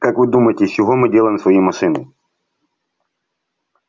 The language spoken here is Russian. как вы думаете из чего мы делаем свои машины